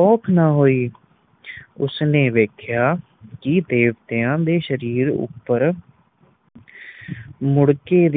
ਔਖ ਨਾ ਹੋਈ ਉਸਨੇ ਦੇਖਿਆ ਕੇ ਦੇਵਤਿਆਂ ਦੇ ਸ਼ਰੀਰ ਉਪਰ ਮੁੜਕੇ ਦੀ